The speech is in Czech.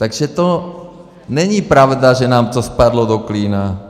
Takže to není pravda, že nám to spadlo do klína.